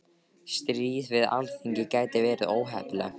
Stríð við Alþingi gæti verið óheppilegt